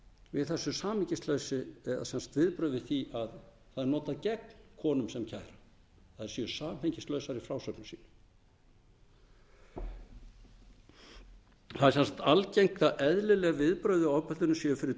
við þessu samhengisleysi eru að það er notað gegn konum sem kæra að þær séu samhengislausar í frásögnum sínum það er sem sagt algengt er að eðlileg viðbrögð við ofbeldinu séu fyrir